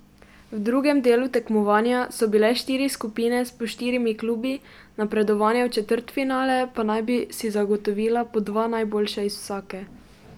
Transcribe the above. V drugem delu tekmovanja so bile štiri skupine s po štirimi klubi, napredovanje v četrtfinale pa naj bi si zagotovila po dva najboljša iz vsake.